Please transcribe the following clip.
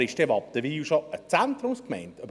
Aber ist dann Wattenwil schon eine Zentrumsgemeinde?